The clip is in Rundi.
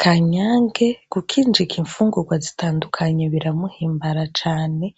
Kanyange gukinjika imfungurwa zitandukanye biramuhimbara cane